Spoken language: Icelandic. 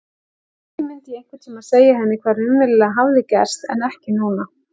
Kannski myndi ég einhvern tímann segja henni hvað raunverulega hafði gerst en ekki núna.